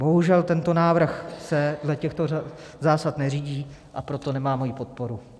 Bohužel tento návrh se dle těchto zásad neřídí, a proto nemá moji podporu.